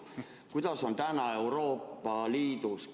Kuidas on täna Euroopa Liidus?